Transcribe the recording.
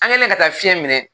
An kɛn bɛ ka taa fiyɛn minɛ